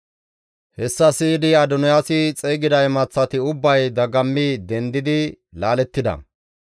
Hessa siyidi Adoniyaasi xeygida imaththati ubbay dagammi dendidi laalettida.